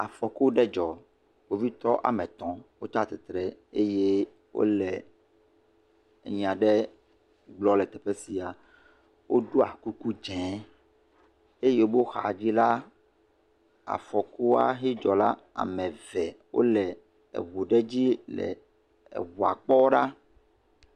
Akɔku ɖe dzɔ. Kpovitɔ woame etɔ wotsi atsi tre eye wole anya ɖe gblɔm le teƒea sia. Woɖo kuku dzɛ eye wo xa dzi la, afɔkua hɛ dzɔ la. Ame eve wo le ɛu ɖe dzi le eŋua kpɔm ɖa.